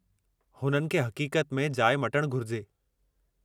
हुननि खे हक़ीक़त में जाइ मटणु घुरिजे।